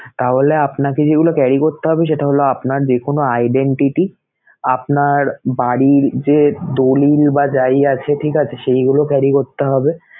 তাহলে আপনাকে যেগুলা carry করতে হবে সেটা হলো আপনার যেকোনো identity, আপনার বাড়ির যে দলিল বা যাই আছে ঠিক আছে সেইগুলো carry করতে হবে